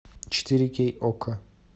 четыре кей окко